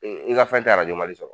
I i ka fɛn tɛ Mali sɔrɔ